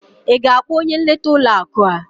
Ị ga-akpọ onye nleta ụlọ akụ a?